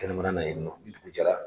Kɛnɛmana na yen nɔ, ni dugu jɛra.